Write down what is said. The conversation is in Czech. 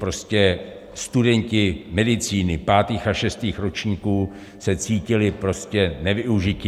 Prostě studenti medicíny pátých a šestých ročníků se cítili prostě nevyužiti.